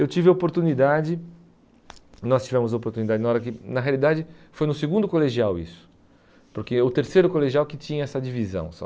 Eu tive oportunidade, nós tivemos oportunidade na hora que, na realidade, foi no segundo colegial isso, porque o terceiro colegial que tinha essa divisão só.